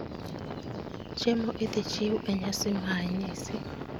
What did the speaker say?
Chiemo idhi chiw e nyasi mae nyisi